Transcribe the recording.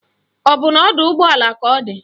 Ọ bụ na ọdọụgbọala ka ọ di?